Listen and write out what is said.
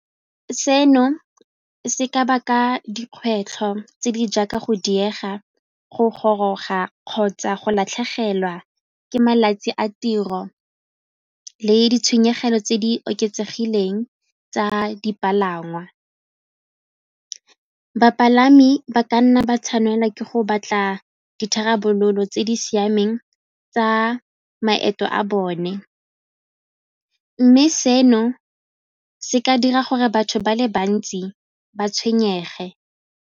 Seno se ka baka dikgwetlho tse di jaaka go diega go goroga kgotsa go latlhegelwa ke malatsi a tiro le ditshwenyegelo tse di oketsegileng tsa dipalangwa. Bapalami ba ka nna ba tshwanela ke go batla ditharabololo tse di siameng tsa maeto a bone mme seno se ka dira gore batho ba le bantsi ba tshwenyege.